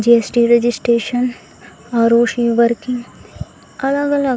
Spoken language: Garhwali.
जी.एस.टी. Registration ROC. वर्किंग अलग-अलग --